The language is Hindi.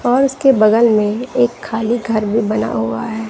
और उसके बगल में एक खाली घर भी बना हुआ है।